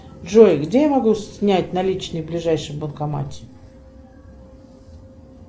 джой где я могу снять наличные в ближайшем банкомате